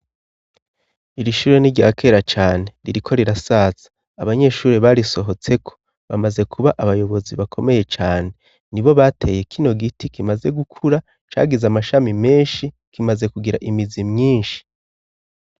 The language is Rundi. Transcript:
Iri shuri ni ryakera cane. Ririko rirasaza. Abanyeshuri barisohotseko bamaze kuba abayobozi bakomeye cane, nibo bateye kino giti kimaze gukura cagize amashami menshi kimaze kugira imizi myinshi.